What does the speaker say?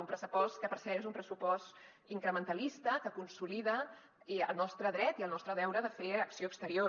un pressupost que per cert és un pressupost incrementalista que consolida el nostre dret i el nostre deure de fer acció exterior